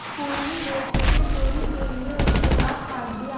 पूर्वी देशों में चोरी के लिए उसके हाथ काट दिया